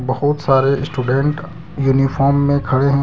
खूब सारे student uniform में खड़े हैं।